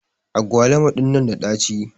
agwaluma dinnan na da dachi.